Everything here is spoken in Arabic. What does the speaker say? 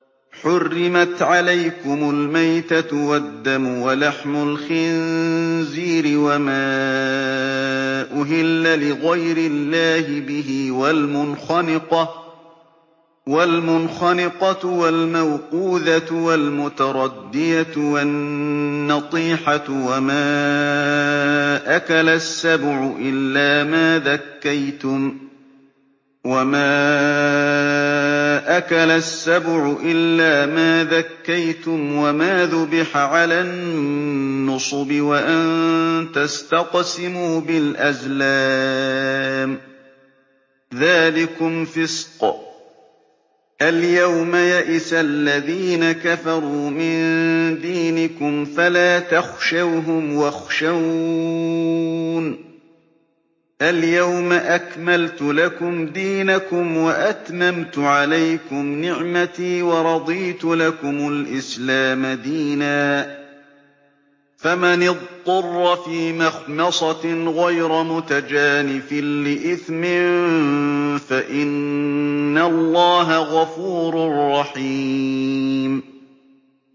حُرِّمَتْ عَلَيْكُمُ الْمَيْتَةُ وَالدَّمُ وَلَحْمُ الْخِنزِيرِ وَمَا أُهِلَّ لِغَيْرِ اللَّهِ بِهِ وَالْمُنْخَنِقَةُ وَالْمَوْقُوذَةُ وَالْمُتَرَدِّيَةُ وَالنَّطِيحَةُ وَمَا أَكَلَ السَّبُعُ إِلَّا مَا ذَكَّيْتُمْ وَمَا ذُبِحَ عَلَى النُّصُبِ وَأَن تَسْتَقْسِمُوا بِالْأَزْلَامِ ۚ ذَٰلِكُمْ فِسْقٌ ۗ الْيَوْمَ يَئِسَ الَّذِينَ كَفَرُوا مِن دِينِكُمْ فَلَا تَخْشَوْهُمْ وَاخْشَوْنِ ۚ الْيَوْمَ أَكْمَلْتُ لَكُمْ دِينَكُمْ وَأَتْمَمْتُ عَلَيْكُمْ نِعْمَتِي وَرَضِيتُ لَكُمُ الْإِسْلَامَ دِينًا ۚ فَمَنِ اضْطُرَّ فِي مَخْمَصَةٍ غَيْرَ مُتَجَانِفٍ لِّإِثْمٍ ۙ فَإِنَّ اللَّهَ غَفُورٌ رَّحِيمٌ